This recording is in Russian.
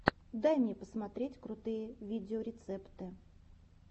дай мне посмотреть крутые видеорецепты